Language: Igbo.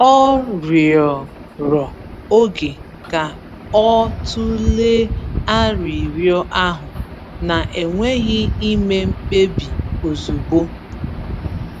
Ọ rịọrọ oge ka o tụlee arịrịọ ahụ, na-enweghị ime mkpebi ozugbo.